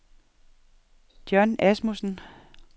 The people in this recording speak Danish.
John Asmussen